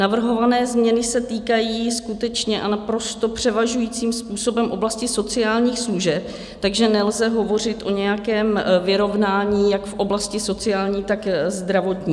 Navrhované změny se týkají skutečně a naprosto převažujícím způsobem oblasti sociálních služeb, takže nelze hovořit o nějakém vyrovnání jak v oblasti sociální, tak zdravotní.